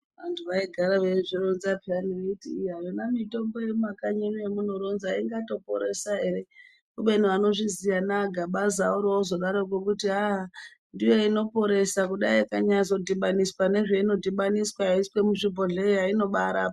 Antu vaigara veizvironza peya veiti iya yona mitombo yemumakanyi muno yemunoronza ingatoporesa ere kubeni anozviziya anaGabaza oroozodaroko kuti aah ndiyo inoporesa kudai ikanyazodhibaniswa nezvaino dhibaniswa yeiswe muzvibhohleya inobaarapa.